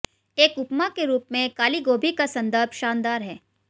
एक उपमा के रूप में काली गोभी का संदर्भ शानदार है